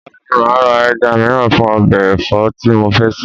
Ọ̀la ni màá ra ẹja mìíràn fún ọbẹ̀ ẹ̀fọ́ tí mo fẹ́ sè